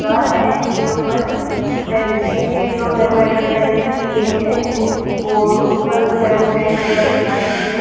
घर है इसके ऊपर पेप्सी की जो है वो एडवरटाइजिंग की गई है और ऊपर जो है वो फैन वगेरा दिखा रखे हैं।